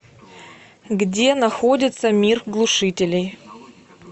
где находится мир глушителей